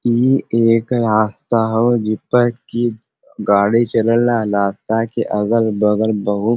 इ एक रास्ता हव जिपै कि गाड़ी चलेला। रास्ता के अगल बगल बहुत --